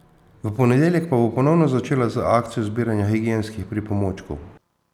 V ponedeljek pa bo ponovno začela z akcijo zbiranja higienskih pripomočkov.